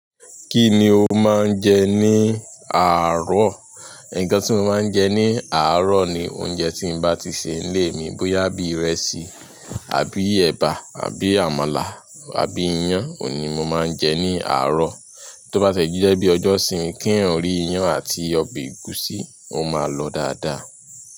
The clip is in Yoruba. Kí ni o máa ń jẹ ní àárò? Ẹ̀kan tí mo máa ń jẹ ní àárò ni oúnjẹ tín bá ti ṣe nílé mi bóyá bí ìrẹsì àbí èbá àbí àmàlà àbí iyán òun ni mo máa ń jẹ ní àárọ̀. Tó bá tẹ̀jíjẹ́ bí ọjọ́ ìsinmi, kí èèyàn rí iyán àti ọbẹ̀ ẹ̀gúsí, o máa lọ dáadáa.